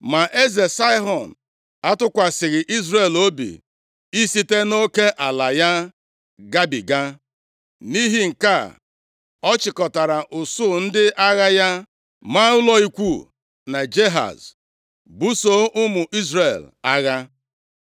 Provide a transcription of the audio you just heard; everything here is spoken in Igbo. Ma eze Saịhọn atụkwasịghị Izrel obi isite nʼoke ala ya gabiga. Nʼihi nke a, ọ chịkọtara usuu ndị agha ya, ma ụlọ ikwu na Jahaz, buso ụmụ Izrel agha.